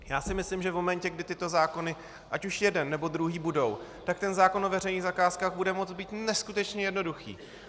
Já si myslím, že v momentě, kdy tyto zákony, ať už jeden, nebo druhý, budou, tak ten zákon o veřejných zakázkách bude moct být neskutečně jednoduchý.